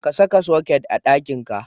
Ka saka soket a ɗakinka.